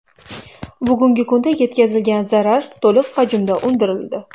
Bugungi kunda yetkazilgan zarar to‘liq hajmda undirildi.